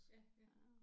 Ja ja